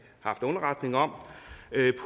haft underretning om